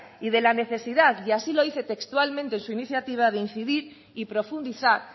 y de la necesidad y así lo dice textualmente en su iniciativa de incidir y profundizar